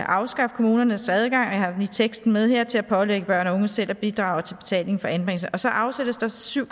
afskaffe kommunernes adgang og jeg har lige teksten med her til at pålægge børn og unge selv at bidrage til betaling for anbringelse og så afsættes der syv